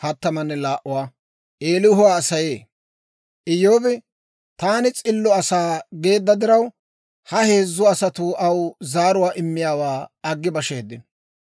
Iyyoobi, «Taani s'illo asaa» geedda diraw, ha heezzu asatuu aw zaaruwaa immiyaawaa aggi basheeddino.